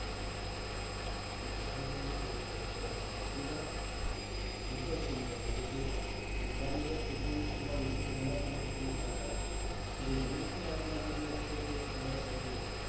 मिसळपावला तोड नाही! खरंच मामलेदार खूपच सुंदर! म्हणजे ते दुपारी जर चुकून थोडा उशीर झाला तुला तिकडे जायला, तर एवढी मोठी line लागलेली असते ते खाण्यासाठी